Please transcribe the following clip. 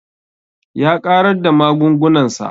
Ya ƙarar da magungunan sa